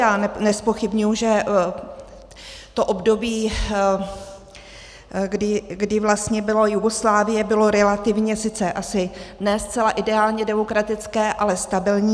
Já nezpochybňuji, že to období, kdy vlastně byla Jugoslávie, bylo relativně sice asi ne zcela ideálně demokratické, ale stabilní.